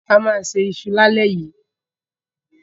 A máa se iṣu lálẹ́ yìí.